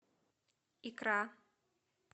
икра